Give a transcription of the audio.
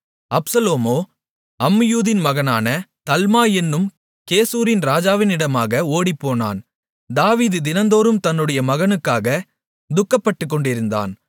அப்சலோமோ அம்மீயூதின் மகனான தல்மாய் என்னும் கெசூரின் ராஜாவினிடமாக ஓடிப்போனான் தாவீது தினந்தோறும் தன்னுடைய மகனுக்காக துக்கப்பட்டுக்கொண்டிருந்தான்